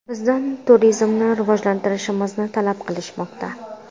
Bizdan turizmni rivojlantirishimizni talab qilishmoqda.